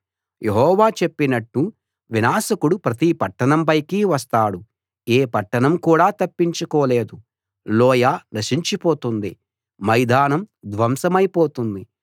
యెహోవా చెప్పినట్టు వినాశకుడు ప్రతి పట్టణం పైకీ వస్తాడు ఏ పట్టణం కూడా తప్పించుకోలేదు లోయ నశించి పోతుంది మైదానం ధ్వంసమై పోతుంది